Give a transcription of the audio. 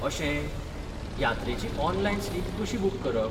अशें! यात्रेची online slip कशी बूक करप?